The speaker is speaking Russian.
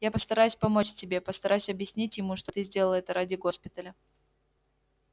я постараюсь помочь тебе постараюсь объяснить ему что ты сделала это ради госпиталя